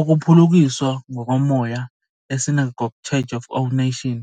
Ukuphulukiswa ngokomoya e-SCOAN